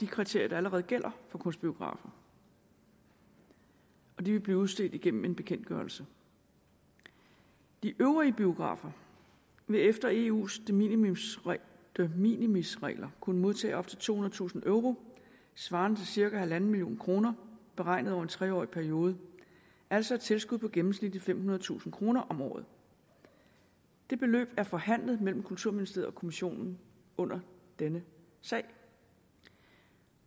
kriterier der allerede gælder for kunstbiografer og de vil blive udstedt igennem en bekendtgørelse de øvrige biografer vil efter eus de minimis minimis regler kunne modtage op til tohundredetusind euro svarende til cirka en million kroner beregnet over en tre årig periode altså et tilskud på gennemsnitlig femhundredetusind kroner om året det beløb er forhandlet mellem kulturministeriet og kommissionen under denne sag